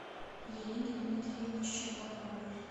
елене дмитриевне щербаковой